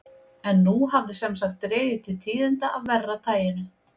En nú hafði sem sagt dregið til tíðinda af verra taginu.